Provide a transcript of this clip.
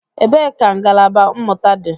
Ebee ka ngalaba mmụta dị?